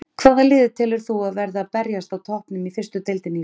Hvaða lið telur þú að verði að berjast á toppnum í fyrstu deildinni í sumar?